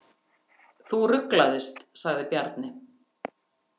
Þú ruglaðist, sagði Bjarni.